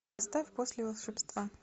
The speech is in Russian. ставь после волшебства